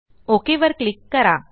okay वर click करा